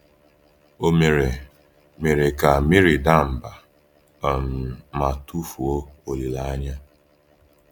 Ọ̀ mere mere ka Meri daa mba um ma tụfuo olileanya?